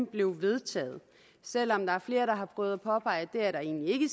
blev vedtaget selv om der er flere der har prøvet at påpege at der egentlig ikke